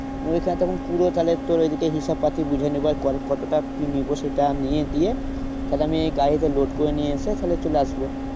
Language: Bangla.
ওইখানে তখন পুরো তাহলে তোর ওইদিকে হিসাব পাতি বুঝে নেবে আর কতটা কি নেবো সেটা নিয়ে দিয়ে তাহলে আমি এই গাড়িতে load করে নিয়ে এসে তাহলে চলে আসবো।